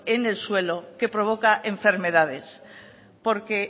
en el suelo que provoca enfermedades porque